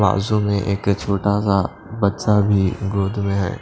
बाजू में एक छोटा सा बच्चा भी गोद में है।